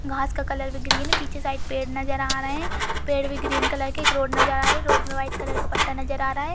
घांस का कलर भी ग्रीन है पीछे साइड पेड़ नजर आ रहे है पेड़ भी ग्रीन कलर के एक रोड नजर आ रही है रोड पे व्हाइट कलर का पट्टा नजर आ रहा है।